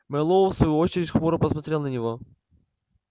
мэллоу в свою очередь хмуро посмотрел на него